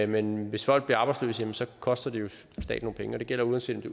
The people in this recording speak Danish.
men hvis folk bliver arbejdsløse koster det jo staten nogle penge og det gælder uanset om det